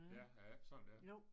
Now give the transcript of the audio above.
Ja er det ikke sådan det er